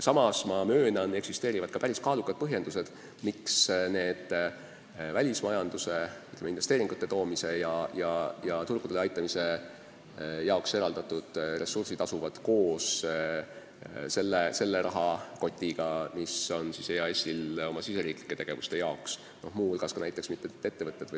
Samas ma möönan, et eksisteerivad päris kaalukad põhjused, miks need välismajanduse, sh investeeringute toomise ja ettevõtete turgudele aitamise jaoks eraldatud ressursid on koos selles rahakotis, kus on ka raha, mis on EAS-il ette nähtud riigisisesteks tegevusteks.